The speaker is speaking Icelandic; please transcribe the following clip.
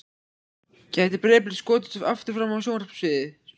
Gæti Breiðablik skotist aftur fram á sjónarsviðið?